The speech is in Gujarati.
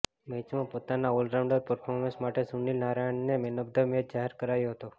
મેચમાં પોતાના ઓલરાઉન્ડ પરફોર્મન્સ માટે સુનીલ નારાયણને મેન ઑફ ધ મેચ જાહેર કરાયો હતો